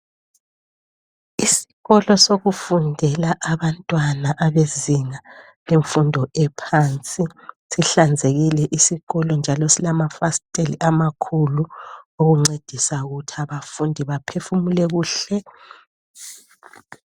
Isikolo sokufundela abantwana ,abezinga lemfundo ephansi. Sihlanzekile isikolo njalo silamafasteli amakhulu okuncedisa ukuthi abafundi baphefumule kuhle.